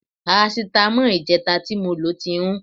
Parasítámọ̀ ìjẹta tí mo lò ti rún